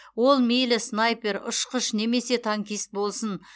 ол мейлі снайпер ұшқыш немесе танкист болсын